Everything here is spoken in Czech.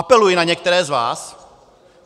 Apeluji na některé z vás: